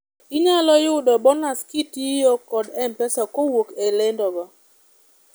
inyalo yudo bonas kitiyo kod mpesa kowuok e lendo go